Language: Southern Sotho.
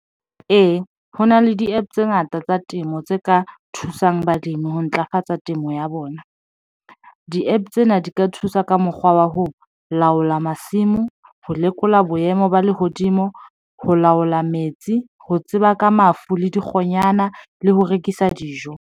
Ee, ho na le di-APP tse ngata tsa temo tse ka thusang balemi ho ntlafatsa temo ya bona. Di-APP tsena di ka thusa ka mokgwa wa ho laola masimo, ho lekola boemo ba lehodimo, ho laola metsi, ho tseba ka mafu le dikgonyana le ho rekisa dijo.